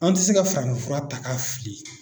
An tɛ se ka farafinfura ta k'a fili.